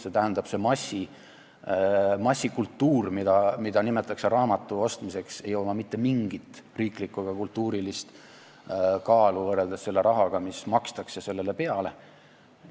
Sellel massikultuuril, mida nimetatakse küll raamatu ostmiseks, ei ole mitte mingit riiklikku ega kultuurilist kaalu võrreldes selle rahaga, mis sellele peale makstakse.